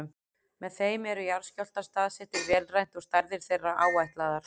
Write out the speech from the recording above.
Með þeim eru jarðskjálftar staðsettir vélrænt og stærðir þeirra áætlaðar.